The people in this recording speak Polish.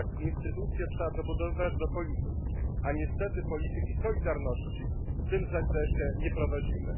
Tak, instytucje trzeba dobudowywać do polityki, a niestety polityki solidarności w tym zakresie nie prowadzimy.